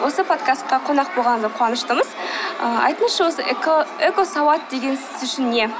осы подкастқа қонақ болғаныңызға қуаныштымыз айтыңызшы осы экосауат деген сіз үшін не